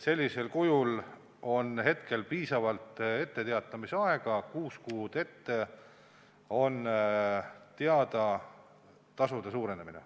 Sellisel juhul on etteteatamisaeg piisav, kuus kuud ette on teada tasude suurenemine.